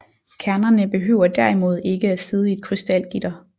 Kernerne behøver derimod ikke at sidde i et krystalgitter